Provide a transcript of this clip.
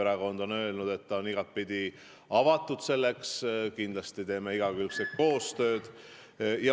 Erakond on öelnud, et ta on igatepidi avatud selleks, kindlasti teeme igakülgset koostööd.